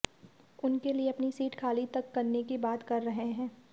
उनके लिए अपनी सीट खाली तक करने की बात कर रहे हैं